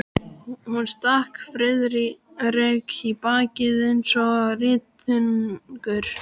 Hún stakk Friðrik í bakið eins og rýtingur.